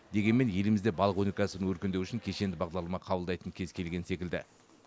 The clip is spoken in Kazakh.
дегенмен елімізде балық өнеркәсібі өркендеуі үшін кешенді бағдарлама қабылдайтын кез келген секілді